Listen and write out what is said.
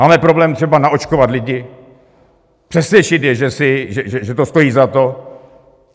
Máme problém třeba naočkovat lidi, přesvědčit je, že to stojí za to.